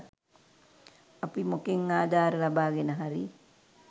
අපි මොකෙන් ආධාර ලබාගෙන හරි